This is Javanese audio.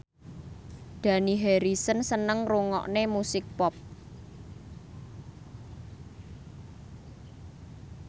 Dani Harrison seneng ngrungokne musik pop